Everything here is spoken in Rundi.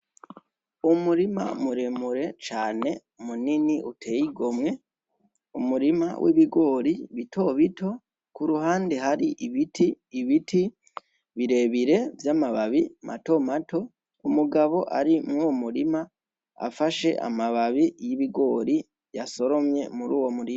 Umurima muremure cane munini uteye igomwe umurima w'ibigori bitobito iruhande hari ibiti. ibiti birebire vy'amababi matomato umugabo ari mw'uwo murima afashe amababi y'ibigori yasoromye muri uwo murima